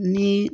Ni